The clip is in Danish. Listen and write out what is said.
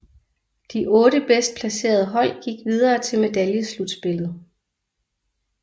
De otte bedst placerede hold gik videre til medaljeslutspillet